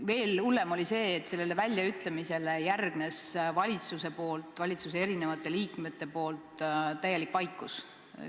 Veel hullem oli see, et sellele väljaütlemisele järgnes valitsuse teiste liikmete poolt täielik vaikus.